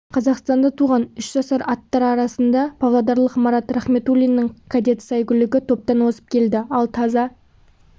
қазақстанда туған үш жасар аттар арасында павлодарлық марат рахметуллиннің кадет сәйгүлігі топтан озып келді ал таза